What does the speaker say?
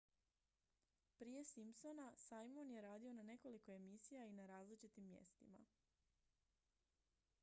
prije simpsona simon je radio na nekoliko emisija i na različitim mjestima